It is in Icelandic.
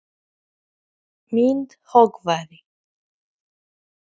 Er Ásmundur farinn að óttast sína stöðu?